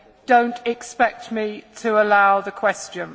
do not expect me to allow the question.